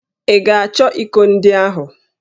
Ị ga-achọ íkò ndị ahụ?